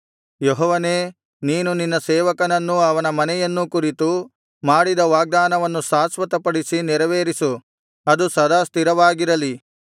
ಯೆಹೋವನೇ ನೀನು ನಿನ್ನ ಸೇವಕನನ್ನೂ ಅವನ ಮನೆಯನ್ನೂ ಕುರಿತು ಮಾಡಿದ ವಾಗ್ದಾನವನ್ನು ಶಾಶ್ವತಪಡಿಸಿ ನೆರವೇರಿಸು ಅದು ಸದಾ ಸ್ಥಿರವಾಗಿರಲಿ